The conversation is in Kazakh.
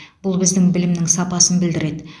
бұл біздің білімнің сапасын білдіреді